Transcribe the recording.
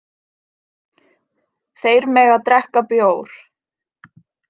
Þeir mega drekka bjór.